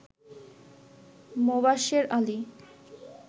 Mobashwer Ali